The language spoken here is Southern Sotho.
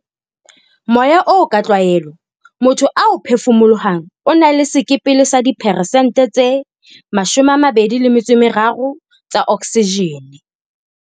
Moya oo ka tlwaelo motho ao phefumolohang o na le sekepele sa dipheresente tse 23 tsa oksijene.